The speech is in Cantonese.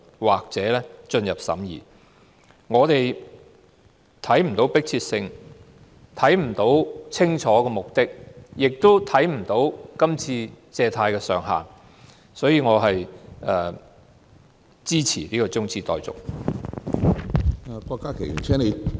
我們看不到擬議決議案有何迫切性，看不到清晰目的，亦看不到借貸上限，所以我支持這項中止待續議案。